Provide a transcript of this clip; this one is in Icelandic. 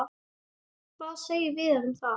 Hvað segir Viðar um það?